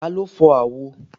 Taló fọ́ àwo?